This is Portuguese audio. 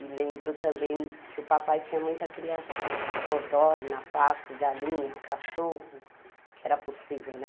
E lembro também que o papai tinha muita criação, codorna, pato, galinha, cachorro, que era possível, né?